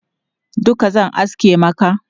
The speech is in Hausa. Duka zan aske maka?